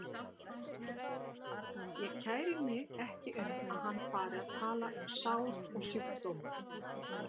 Ég kæri mig ekki um að hann fari að tala um sár og sjúkdóma.